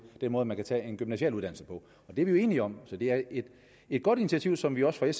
den måde man kan tage en gymnasial uddannelse på det er vi jo enige om så det er et godt initiativ som vi også